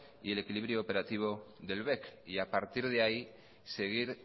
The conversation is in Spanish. y el equilibrio operativo del bec y a partir de ahí seguir